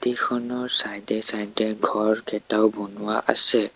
এইখনৰ চাইড এ চাইড এ ঘৰ কেইটাও বনোৱা আছে।